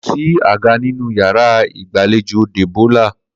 Kò sí àga nínú yàrá ìgbàlejò Débó̩lá